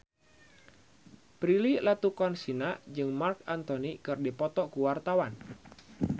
Prilly Latuconsina jeung Marc Anthony keur dipoto ku wartawan